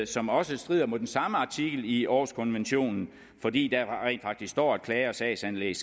som også strider mod den samme artikel i århuskonventionen fordi der rent faktisk står at klager og sagsanlæg